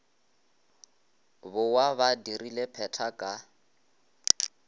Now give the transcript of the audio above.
bowa ba dirile pheta ka